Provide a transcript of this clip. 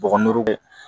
Bɔgɔ ndugu bɛ